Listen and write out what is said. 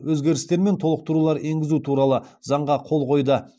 өзгерістер мен толықтырулар енгізу туралы заңға қол қойды